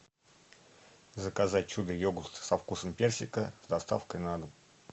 заказать чудо йогурт со вкусом персика с доставкой на дом